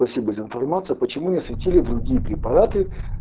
спасибо за информацию почему не освятили другие препараты